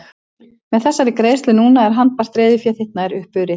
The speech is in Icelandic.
Með þessari greiðslu núna er handbært reiðufé þitt nær upp urið.